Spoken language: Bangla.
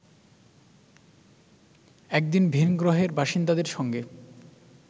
একদিন ভিনগ্রহের বাসিন্দাদের সঙ্গে